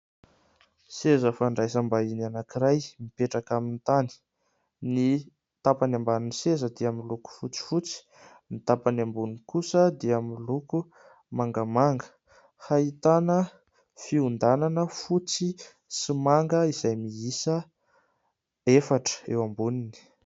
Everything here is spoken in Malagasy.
Seza fandraisam-bahiny anankiray mipetraka amin'ny tany, ny tampany ambanin'ny seza dia miloko fotsifotsy, ny tampany amboniny kosa dia miloko mangamanga, ahitana fiondanana fotsy sy manga izay miisa efatra eo amboniny.